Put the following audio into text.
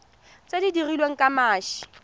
tse di dirilweng ka mashi